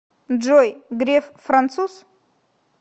джой греф француз